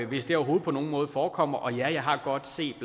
hvis det overhovedet på nogen måde forekommer og jeg har godt set